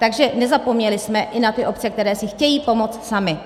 Takže nezapomněli jsme i na ty obce, které si chtějí pomoci samy.